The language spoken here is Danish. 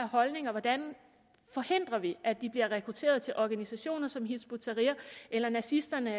holdninger hvordan forhindrer vi at de bliver rekrutteret til organisationer som hizb ut tahrir eller nazisternes